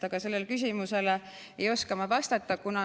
Aga sellele küsimusele ei oska ma vastata.